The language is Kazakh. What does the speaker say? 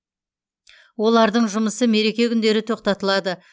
олардың жұмысы мереке күндері тоқтатылады